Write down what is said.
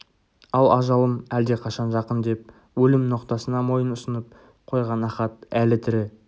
ал ажалым әлдеқашан жақын деп өлім ноқтасына мойынұсынып қойған ахат әлі тірі